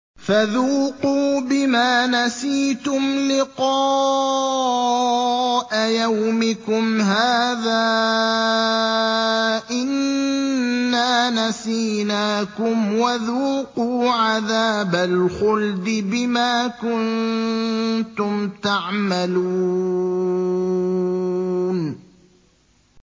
فَذُوقُوا بِمَا نَسِيتُمْ لِقَاءَ يَوْمِكُمْ هَٰذَا إِنَّا نَسِينَاكُمْ ۖ وَذُوقُوا عَذَابَ الْخُلْدِ بِمَا كُنتُمْ تَعْمَلُونَ